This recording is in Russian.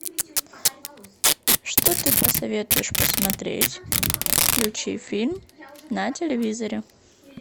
что ты посоветуешь посмотреть включи фильм на телевизоре